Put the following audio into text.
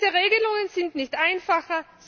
Diese Regelungen sind nicht einfacher.